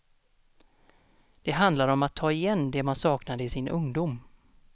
Det handlar om att ta igen det man saknade i sin ungdom.